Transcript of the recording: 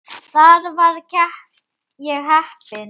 Þar var ég heppin.